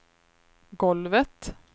golvet